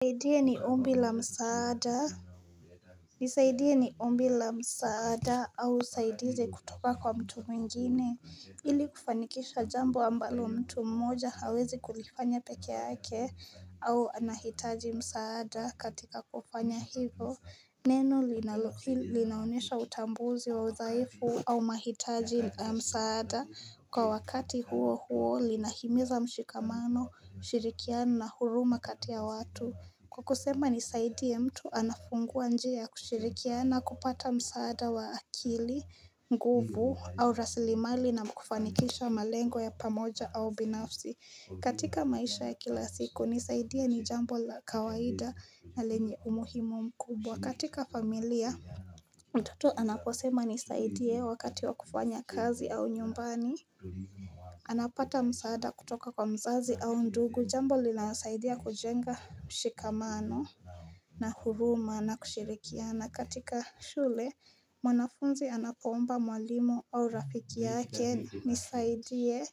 Nisaidie ni ombi la msaada au usaidize kutoka kwa mtu mwingine ili kufanikisha jambo ambalo mtu mmoja hawezi kulifanya peke yake au anahitaji msaada katika kufanya hivyo Neno linaonyesha utambuzi wa udhaifu au mahitaji msaada kwa wakati huo huo linahimiza mshikamano, ushirikiana na huruma kati ya watu. Kwakusema ni zaidi ya mtu anafungua njia y kushirikiana kupata msaada wa akili, nguvu au raslimali na kufanikisha malengo ya pamoja au binafsi. Katika maisha ya kila siku nisaidie ni jambo la kawaida na lenye umuhimu mkubwa katika familia mtoto anaposema nisaidie wakati wa kufanya kazi au nyumbani anapata msaada kutoka kwa mzazi au ndugu jambo linalosaidia kujenga mshikamano na huruma na kushirikiana katika shule mwanafunzi anapoomba mwalimu au rafiki yake nisaidie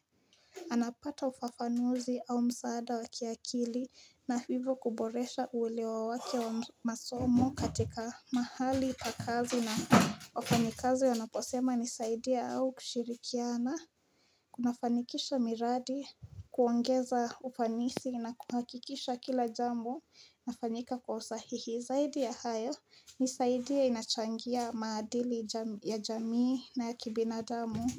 anapata ufafanuzi au msaada wa kiakili na hivyo kuboresha ulewa wake wa masomo katika mahali pa kazi na wafanyikazi wonaposema nisaidie au kushirikiana Kunafanikisha miradi kuongeza ufanisi na kuhakikisha kila jambo linafanyika kwa usahihi Zaidi ya hayo nisaidie inachangia maadili ya jamii na ya kibinadamu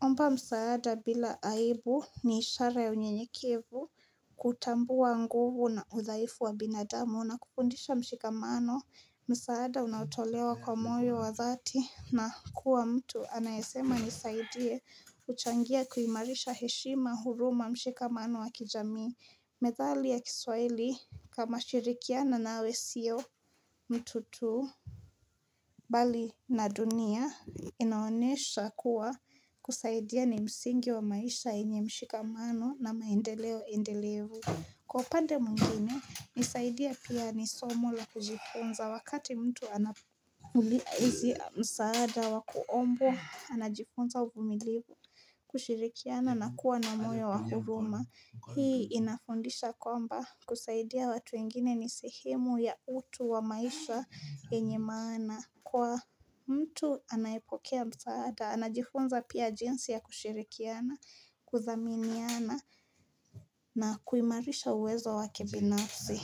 Omba msaada bila aibu ni ishara ya unyenyekevu kutambua nguvu na udhaifu wa binadamu na kukundisha mshikamano msaada unaotolewa kwa mwoyo wa dhati na kuwa mtu anayesema nisaidie huchangia kuimarisha heshima huruma mshikamano wa kijamii methali ya kiswaili kama shirikiana nawe sio mtu tu Bali na dunia inaonyesha kuwa kusaidia ni msingi wa maisha yenye mshikamano na maendeleo endelevu. Kwa upande mwingine nisaidie pia nisomo la kujifunza wakati mtu anapoulizwa msaada wa kuombwa anajifunza uvumilivu kushirikiana na kuwa na moyo wahuruma. Hii inafundisha kwamba kusaidia watu wengine ni sehemu ya utu wa maisha yenye mana. Kwa mtu anayepokea msaada, anajifunza pia jinsi ya kushirikiana, kuthaminiana na kuimarisha uwezo wake binafsi.